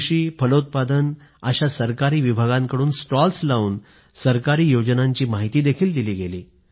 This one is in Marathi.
कृषी फलोत्पादन अशा सरकारी विभागांकडून स्टॉल्स लावून सरकारी योजनांची माहिती दिली गेली